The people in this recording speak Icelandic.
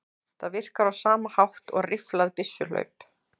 Það virkar á sama hátt og rifflað byssuhlaup.